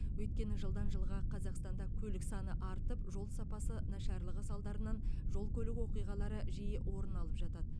өйткені жылдан жылға қазақстанда көлік саны артып жол сапасы нашарлығы салдарынан жол көлік оқиғалары жиі орын алып жатады